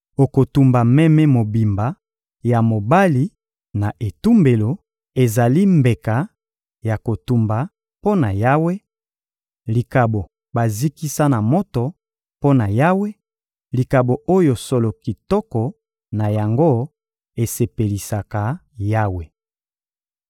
Okotumba meme mobimba ya mobali na etumbelo; ezali mbeka ya kotumba mpo na Yawe, likabo bazikisa na moto mpo na Yawe, likabo oyo solo kitoko na yango esepelisaka Yawe.